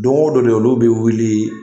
Don o don de olu bɛ wuli